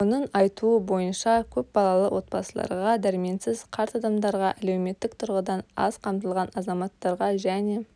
оның айтуы бойынша көп балалы отбасыларға дәрменсіз қарт адамдарға әлеуметтік тұрғыдан аз қамтылған азаматтарға және